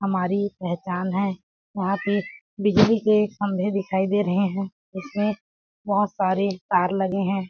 हमारी पहचान है यहाँ पे बिजली के खंभे दिखाई दे रहे है जिसमें बहोत सारे तार लगे हैं ।